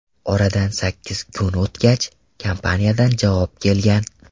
Oradan sakkiz kun o‘tgach, kompaniyadan javob kelgan.